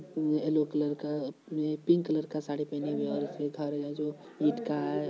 ये yellow colour का pink colour का साड़ी पहनी हुई हैऔरत है जो ईट का है।